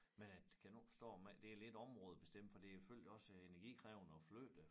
Men at kan nu ikke forstå med det lidt områdebestemt fordi det selvfølgelig også energikrævende at flytte